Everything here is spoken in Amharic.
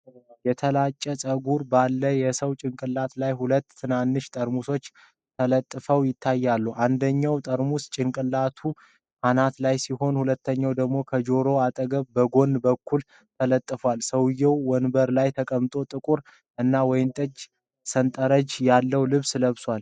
የተላጨ ፀጉር ባለው የሰው ጭንቅላት ላይ ሁለት ትናንሽ ጠርሙሶች ተለጥፈው ይታያሉ። አንደኛው ጠርሙስ ጭንቅላቱ አናት ላይ ሲሆን፣ ሁለተኛው ደግሞ ከጆሮው አጠገብ በጎን በኩል ተለጥፏል። ሰውየው ወንበር ላይ ተቀምጦ ጥቁር እና ወይንጠጃማ ሰንጠረዥ ያለው ልብስ ለብሷል።